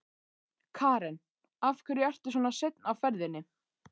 Karen: Af hverju ertu svona seinn á ferðinni?